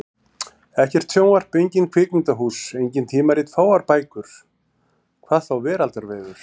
Ekkert sjónvarp, engin kvikmyndahús, engin tímarit, fáar bækur. hvað þá veraldarvefur!